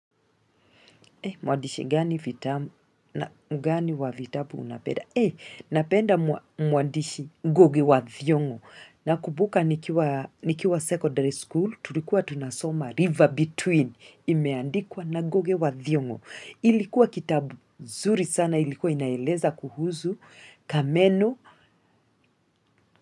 Mwandishi gani wa vitabu unampenda. Nampenda mwandishi Ngugi wa thiong'o. Nakumbuka nikiwa secondary school, tulikuwa tunasoma river between. Imeandikwa na ngugi wa thiong'o. Kilikuwa kitabu kizuri sana kilikuwa kinaeleza kuhusu kameno.